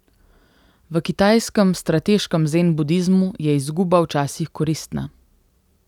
V kitajskem strateškem zen budizmu je izguba včasih koristna.